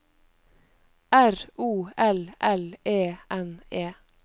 R O L L E N E